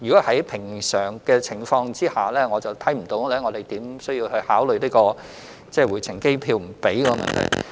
在正常情況下，我看不到我們可以考慮僱主不支付回程機票的問題。